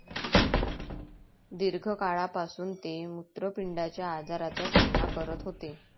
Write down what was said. दीर्घकाळापासून ते मुत्रपिंडाच्या आजाराचा सामना करत होते.